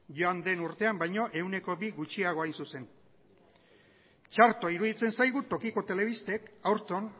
joan den urtean baino ehuneko bi gutxiago hain zuzen txarto iruditzen zaigu tokiko telebistek aurton